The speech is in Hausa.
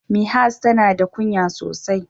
Mihas tana da ƙunya sosai.